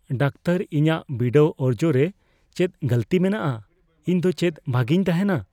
Doctor, ᱤᱧᱟᱜ ᱵᱤᱰᱟᱹᱣ ᱚᱨᱡᱚ ᱨᱮ ᱪᱮᱫ ᱜᱟᱹᱞᱛᱤ ᱢᱮᱱᱟᱜᱼᱟ ? ᱤᱧ ᱫᱚ ᱪᱮᱫ ᱵᱷᱟᱜᱮᱧ ᱛᱟᱦᱮᱱᱟ ?